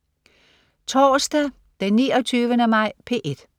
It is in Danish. Torsdag den 29. maj - P1: